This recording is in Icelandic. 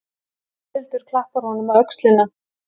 Þórhildur klappar honum á öxlina.